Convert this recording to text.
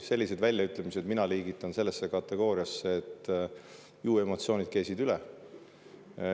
Sellised väljaütlemised liigitan mina sellesse kategooriasse, et ju emotsioonid keesid üle.